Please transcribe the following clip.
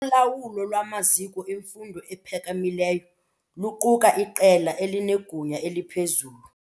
Ulawulo lwamaziko emfundo ephakamileyo luquka iqela elinegunya eliphezulu.